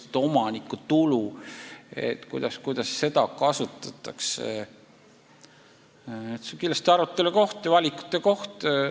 Kuidas omanikutulu kasutatakse, see on kindlasti arutelu ja valikute koht.